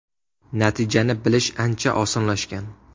Natijani bilish ancha osonlashgan.